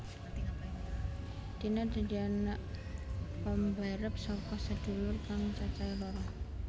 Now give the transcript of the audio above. Tina dadi anak pambarep saka sedulur kang cacahe loro